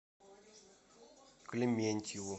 клементьеву